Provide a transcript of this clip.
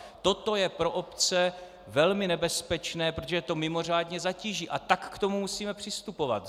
Toto je pro obce velmi nebezpečné, protože je to mimořádně zatíží, a tak k tomu musíme přistupovat.